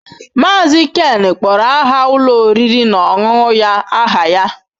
Mazị Ken kpọrọ aha ụlọ oriri na ọṅụṅụ ya aha ya.